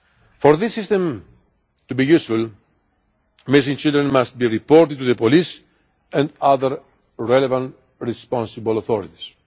For this system to be useful, missing children must be reported to the police and other relevant responsible authorities.